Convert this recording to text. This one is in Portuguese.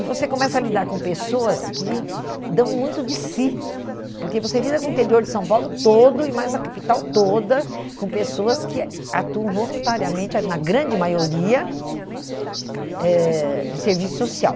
E você começa a lidar com pessoas que dão muito de si, porque você lida com o interior de São Paulo todo e mais a capital toda, com pessoas que ah atuam voluntariamente, na grande maioria eh, em serviço social.